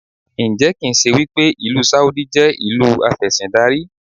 Ǹjẹ́ kì ń ṣe wípé ìlú Sáúdí jẹ́ ìlú afẹ́síndarí?